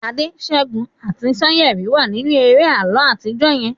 Ade, Segun ati Sanyeri wa ninu eré àlọ atijọ yen